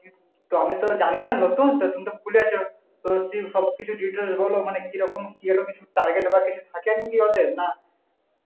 তো আমি তো জানিনা নতুন তো তুমি তো খুলেছো তো সব কিছু detail বোলো মানে কিরকম কিরকম কিছু target বা কিছু থাকে নাকি ওদের না